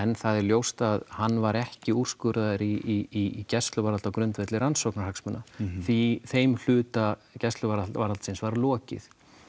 það er ljóst að hann var ekki úrskurðaður í gæsluvarðhald á grundvelli rannsóknarhagsmuna því þeim hluta gæsluvarðhaldsins var lokið